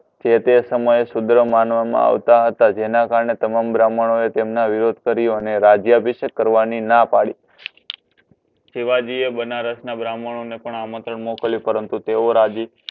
જેતે સમય એ સુદ્ર માનવા મા આવતા હતા જેના કારણે તમામ બ્રહ્મણ તેમનું વિરુદ્ધ કર્યું રાજ્ય અભિશકે કરવાની ના પડી શિવજી એ બનારસ ના બ્રહ્મણનો આમંત્રણ મોકલ્યું પરંતુ તેઓ રાજી